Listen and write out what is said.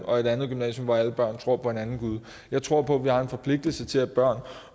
og et andet gymnasium hvor alle børn tror på en anden gud jeg tror på at vi har en forpligtelse til at børn